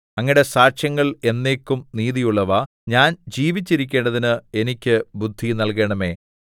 അങ്ങയുടെ സാക്ഷ്യങ്ങൾ എന്നേക്കും നീതിയുള്ളവ ഞാൻ ജീവിച്ചിരിക്കേണ്ടതിന് എനിക്ക് ബുദ്ധി നല്കണമേ കോഫ്